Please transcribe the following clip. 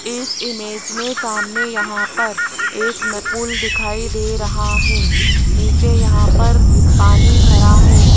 इस इमेज में सामने यहां पर एक पुल दिखाई दे रहा है नीचे यहां पर पानी भरा है।